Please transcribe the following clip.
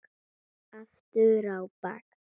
Aftur á bak.